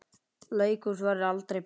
Leikhús verður aldrei bíó.